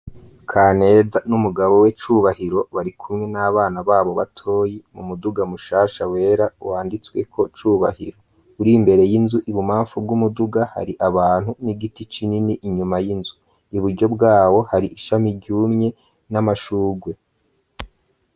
Kaneza n'umugabo we Cubahiro bari kumwe n'abana babo batoyi mu muduga mushasha wera wanditsweko cubahiro uri mbere y'inzu, ibumbamfu bw'umuduga hari abantu n'igiti kinini inyuma y'inzu, i buryo bwabo hari ishami ryumye n'amashurwe.